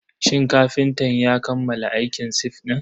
Shin kafintan ya kammala aikin sif din?